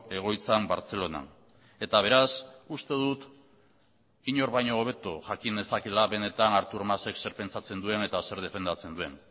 egoitzan bartzelonan eta beraz uste dut inor baino hobeto jakin nezakeela benetan artur mas ek zer pentsatzen duen eta zer defendatzen duen